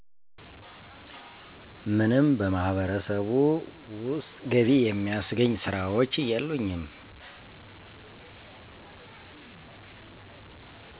ምንም በማህበረሰቡ ውስጥ ገቢ የሚያስገኝ ስራዎች የሉኝም